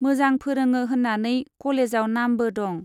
मोजां फोरोङो होन्नानै कलेजाव नामबो दं।